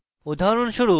উদাহরণস্বরূপ